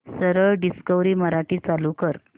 सरळ डिस्कवरी मराठी चालू कर